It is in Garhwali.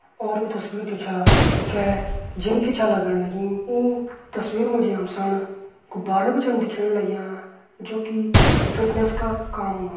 और यु तस्वीर जु छा कै जिम की छा लगण लगीं ई तस्वीर मा जी हम सण गुब्बारा भी छन दिखेण लग्यां जु कि फिटनेस का काम औंदा।